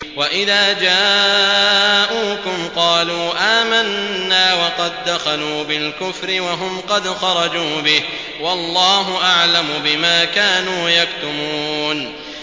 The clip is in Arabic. وَإِذَا جَاءُوكُمْ قَالُوا آمَنَّا وَقَد دَّخَلُوا بِالْكُفْرِ وَهُمْ قَدْ خَرَجُوا بِهِ ۚ وَاللَّهُ أَعْلَمُ بِمَا كَانُوا يَكْتُمُونَ